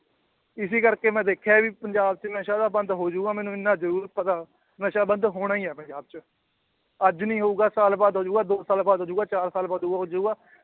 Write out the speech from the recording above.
ਇਸੇ ਕਰਕੇ ਮੈਂ ਦੇਖਿਆ ਵੀ ਪੰਜਾਬ ਚ ਨਸ਼ਾ ਤਾਂ ਬੰਦ ਹੋ ਜਾਊਗਾ ਮੈਨੂੰ ਇੰਨਾ ਜ਼ਰੂਰ ਪਤਾ, ਨਸ਼ਾ ਬੰਦ ਹੋਣਾ ਹੀ ਹੈ ਪੰਜਾਬ ਚ, ਅੱਜ ਨੀ ਹੋਊਗਾ ਸਾਲ ਬਾਅਦ ਹੋ ਜਾਊਗਾ ਦੋ ਕੁ ਸਾਲ ਬਾਅਦ ਹੋ ਜਾਊਗਾ ਚਾਰ ਸਾਲ ਬਾਅਦ ਹੋ ਜਾਊਗਾ।